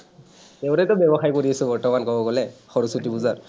সেইবোৰেইটো ব্যৱসায় কৰি আছোঁ বৰ্তমান কব গলে সৰস্বতী পূজাত।